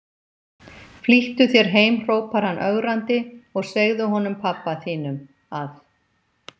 Flýttu þér heim hrópar hann ögrandi, og segðu honum pabba þínum að